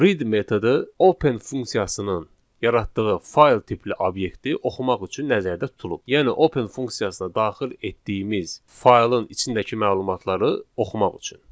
Read metodu open funksiyasının yaratdığı fayl tipli obyekti oxumaq üçün nəzərdə tutulub, yəni open funksiyasına daxil etdiyimiz faylın içindəki məlumatları oxumaq üçün.